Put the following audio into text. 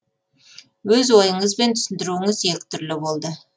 өз ойыңыз бен түсіндіруіңіз екі түрлі болды